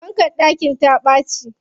Fankar ɗakin ta ɓaci.